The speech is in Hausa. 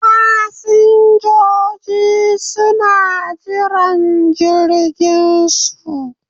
Fasinjojin suna jiran jirginsu.